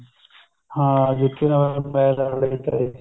ਹਾਂ ਸੱਦੀ ਨਾ ਸਦਾਈ ਮੈਂ ਲਾੜੇ ਦੀ ਤਾਈ